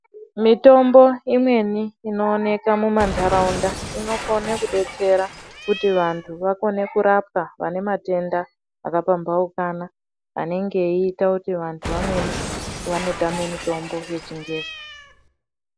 Mitombo imweni ino oneka mu ndaraunda inokone kubetsera kuti vantu vakone kurapwa vane matenda aka pambaukana anenge eita kuti antu amweni ano tama mitombo yechi ngezi.